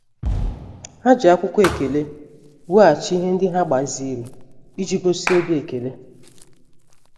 Ha ji akwụkwọ ekele weghachi ihe ndị ha gbaziri iji gosi obi ekele.